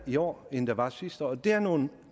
i år end der var sidste år det er nogle